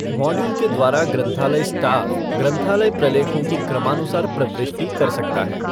Module के द्वारा ग्रंथालय स्टाफ़ ग्रंथालय प्रलेखों की क्रमानुसार प्रवृिष्टि कर सकता है ।